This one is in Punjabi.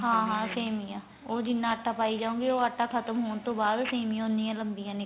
ਹਾਂ ਹਾਂ ਸੇਮੀਆਂ ਉਹ ਜਿੰਨਾ ਆਟਾ ਪੈ ਜਾਉ ਗੇ ਉਹ ਆਟਾ ਖਤਮ ਹੋਣ ਤੋਂ ਬਾਅਦ ਸੇਮੀਆਂ ਉਨੀਆਂ ਰਹਿੰਦੀਆਂ ਨੇ